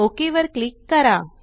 okay वर click करा